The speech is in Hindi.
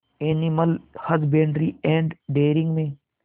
एनिमल हजबेंड्री एंड डेयरिंग में